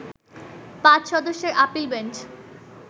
৫ সদস্যের appeal bench